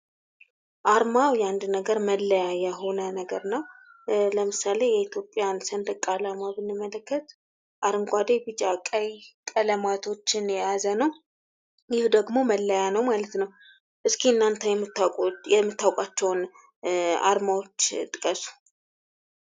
አርማው የአንድ ነገር መለያ የሆነ ነገር ነው። ለምሳሌ የኢትዮጵያን ሰንደቅ አላማ ብንመለከት አረንጓዴ ቢጫ ቀይ ቀለማቶችን የያዘ ነው። ይህ ደግሞ መለያ ነው ማለት ነው። እስኪ እናተ የምታውቋቸውን አርማዎች ጥቀሱ።